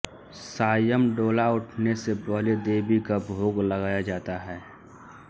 सायं डोला उठने से पहले देवी का भोग लगाया जाता है